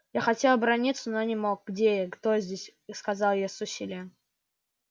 я хотел оборотиться но не мог где я кто здесь сказал я с усилием